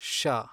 ಶ